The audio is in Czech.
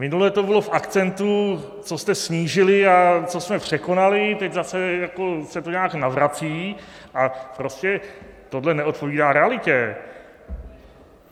Minule to bylo v akcentu, co jste snížili a co jsme překonali, teď zase se to nějak navrací, a prostě tohle neodpovídá realitě.